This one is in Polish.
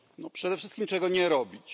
Przede wszystkim czego nie robić?